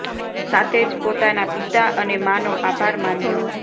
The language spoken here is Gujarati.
સાથે જ પોતાના પિતા અને મા નો આભાર માન્યો